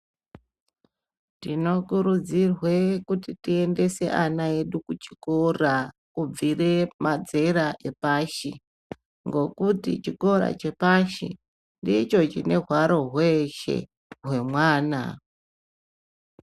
Tinokurudzirwe kuti tiendese ana edu kuchikoro, kubvire madzera epashi, ngokuti chikora chepashi ndichochine hwaro hweshe hwemwana.